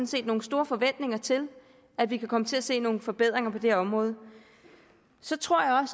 set nogle store forventninger til at vi kan komme til at se nogle forbedringer på det her område så tror jeg